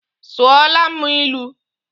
Sụọla mụ ilu!